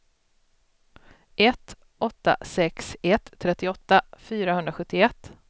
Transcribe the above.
ett åtta sex ett trettioåtta fyrahundrasjuttioett